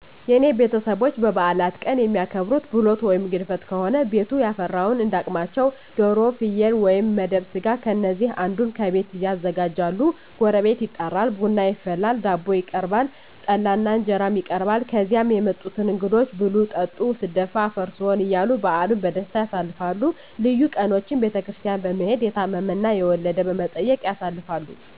የኔ ቤተሰቦች በበዓላት ቀን የሚያከብሩት፦ ብሎት ወይም ግድፍት ከሆነ ቤቱ ያፈራውን እንዳ አቅማቸው ዶሮ፣ ፍየል ወይም መደብ ስጋ ከነዚህ አንዱን ከቤት ያዘጋጃሉ ጎረቤት ይጠራል፣ ቡና ይፈላል፣ ዳቦ ይቀርባል፣ ጠላ እና እንጀራም ይቀርባል ከዚያ የመጡትን እንግዶች ብሉ ጠጡ ስደፋ አፈር ስሆን እያሉ በዓልን በደስታ ያሳልፋሉ። ልዩ ቀኖችን ቤተክርስቲያን በመሔድ፣ የታመመ እና የወለደ በመጠየቅ ያሳልፋሉ።